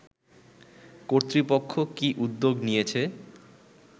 কর্তৃপক্ষ কি উদ্যোগ নিয়েছে